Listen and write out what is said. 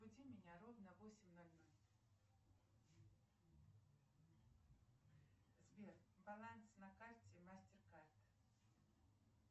разбуди меня ровно в восемь ноль ноль сбер баланс на карте мастер кард